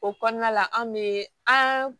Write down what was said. O kɔnɔna la an bɛ an